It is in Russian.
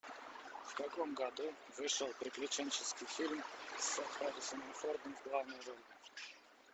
в каком году вышел приключенческий фильм с харрисоном фордом в главной роли